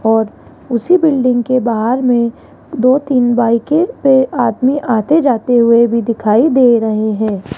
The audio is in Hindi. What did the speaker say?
और उसी बिल्डिंग के बाहर में दो तीन बाइके पे आदमी आते जाते हुए भी दिखाई दे रहे हैं।